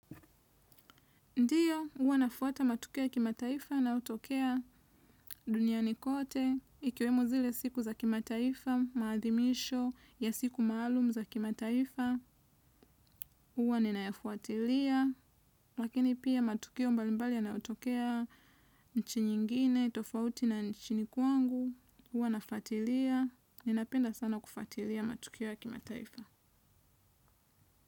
Ndiyo, hua nafuata matukioya kima taifaya na yotokea dunia nikote. Ikiwe mozile siku za kima taifa, maadhimisho ya siku maalum za kima taifa, hua ninayafuatilia. Lakini pia matukio mbalimbali ya nayo tokea nchi nyingine, tofauti na nchi nikwangu, hua nafatilia. Ninapenda sana kufatilia matukioya kima taifa.